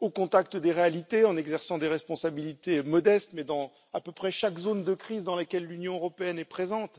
au contact des réalités, en exerçant des responsabilités modestes mais dans à peu près chaque zone de crise dans laquelle l'Union européenne est présente.